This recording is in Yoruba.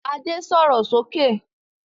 Ade sọ̀rọ̀ sókè!